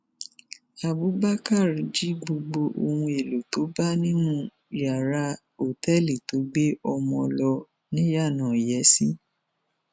abubakar jí gbogbo ohun èèlò tó bá nínú yàrá òtẹẹlì tó gbé ọmọge lọ niyenàìyèsí